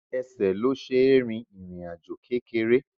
Ẹsẹ̀ ló ṣe rìn ìrìn àjò kékeré